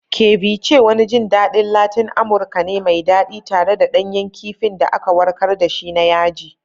Ceviche wani jin daɗin Latin Amurka ne mai daɗi, tare da ɗanyen kifin da aka warkar da shi na yaji.